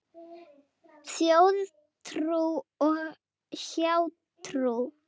Þjóðtrú og hjátrú